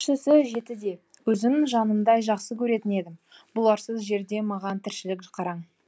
кішісі жетіде өзім жанымдай жақсы көретін едім бұларсыз жерде маған тіршілік қараң